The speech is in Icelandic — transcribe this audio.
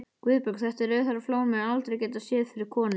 GUÐBJÖRG: Þetta rauðhærða flón mun aldrei geta séð fyrir konu.